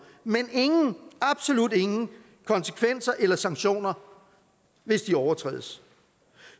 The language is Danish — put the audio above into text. men ingen absolut ingen konsekvenser eller sanktioner hvis de overtrædes